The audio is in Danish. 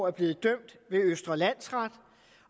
er blevet dømt ved østre landsret